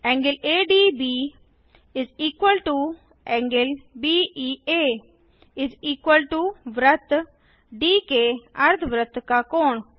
∠ADB ∠BEA वृत्त डी के अर्धवृत्त का कोण